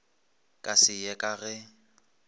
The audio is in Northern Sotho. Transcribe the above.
ka se ye ka ge